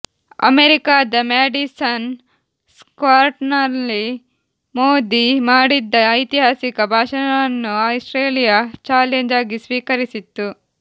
ಅಮೇರಿಕಾದ ಮ್ಯಾಡಿಸನ್ ಸ್ಕ್ವಾರ್ನಲ್ಲಿ ಮೋದಿ ಮಾಡಿದ್ದ ಐತಿಹಾಸಿಕ ಭಾಷಣವನ್ನು ಆಸ್ಟ್ರೇಲಿಯಾ ಚಾಲೆಂಜ್ ಆಗಿ ಸ್ವೀಕರಿಸಿತ್ತು